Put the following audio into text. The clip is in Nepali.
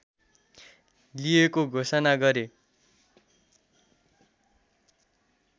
लिएको घोषणा गरे